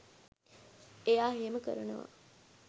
එයා එහෙම කරනවා